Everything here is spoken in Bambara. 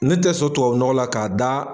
Ne tɛ sɔ tubabu nɔgɔ la k'a da.